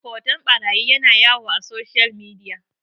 hoton ɓarayi yana yawo a soshiyal midiya